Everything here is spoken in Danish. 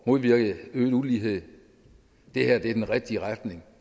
modvirke øget ulighed det her er den rigtige retning